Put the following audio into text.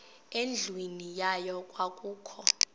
endlwini yayo kwakukho